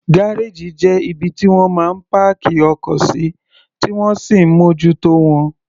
Gárèjì jẹ́ ibi tí wọ́n máa ń páàkì ọkọ̀ sí, tí wọ́n sì ń mójútó wọn.